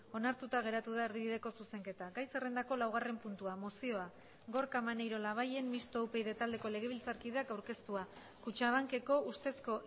onartuta geratu da erdibideko zuzenketa gai zerrendako laugarren puntua mozioa gorka maneiro labayen mistoa upyd taldeko legebiltzarkideak aurkeztua kutxabankeko ustezko